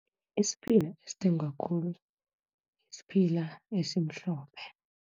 Isiphila esithengwa khulu, siphila esimhlophe.